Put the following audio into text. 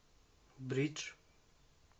бридж